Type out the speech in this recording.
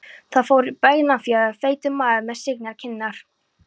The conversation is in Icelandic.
Þar fór bjúgnefjaður feitur maður með signar kinnar.